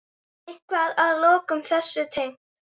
Eitthvað að lokum þessu tengt?